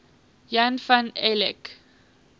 jan van eyck